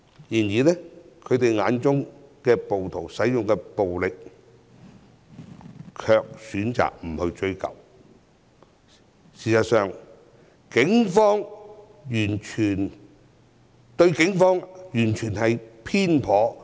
然而，他們卻選擇對暴徒使用的暴力不作追究，對警方的描述也很偏頗。